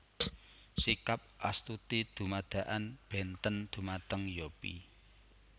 Sikap Astuti dumadakan bénten dhumateng Yopie